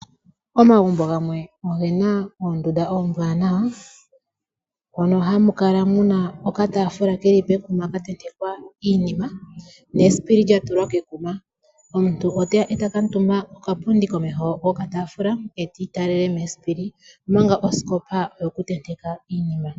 Omagumbo gamwe ogena oondunda oombwanawa, moka hamu kala muna okatafula keli kekuma katentekwa iinima nesipili lyatulwa kekuma, omuntu oteya eta kutumba kokapundi komeho yo katafula etiitalele mesipili omanga osikopa oyokuntenteka iinima.